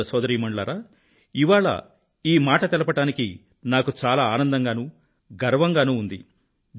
సోదర సోదదీమణులారా ఇవాళ ఈ మాట తెలపడానికి నాకు చాలా ఆనందంగానూ గర్వంగానూ ఉంది